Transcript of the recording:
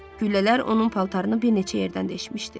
Güllələr onun paltarını bir neçə yerdən deşmişdi.